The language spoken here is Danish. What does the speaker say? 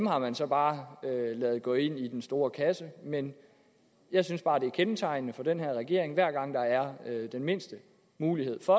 har man så bare ladet gå ind i den store kasse men jeg synes bare det er kendetegnende for den her regering at hver gang der er den mindste mulighed for